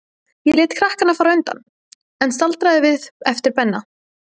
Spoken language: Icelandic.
Ég lét krakkana fara á undan, en staldraði við eftir Benna.